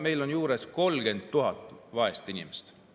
Meil on juures 30 000 vaest inimest.